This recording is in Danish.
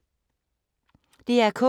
DR K